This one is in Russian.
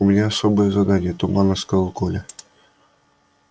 у меня особое задание туманно сказал коля